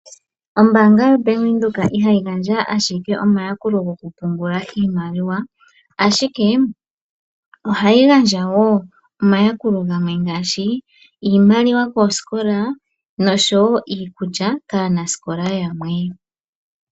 Ombaanga yoBank Windhoek ihayi gandja ashike omayakulo gokupungula iimaliwa, ashike ohayi gandja wo omayakulo gamwe ngaashi iimaliwa koosikola noshowo iikulya kaanasikola yamwe.